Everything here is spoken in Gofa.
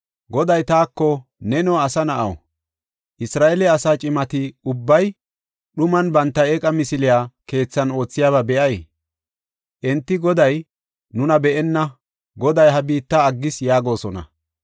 Goday taako, “Neno, asa na7aw, Isra7eele asaa cimati ubbay dhuman banta eeqa misiliya keethan oothiyaba be7ay? Enti, Goday nuna be7enna; Goday ha biitta aggis” yaagosona.